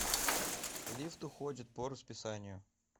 лифт уходит по расписанию